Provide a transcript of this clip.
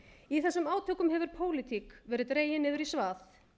í þessum átökum hefur pólitík verið dregin niður í svað